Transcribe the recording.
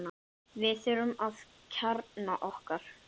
Við þurfum að kjarna okkur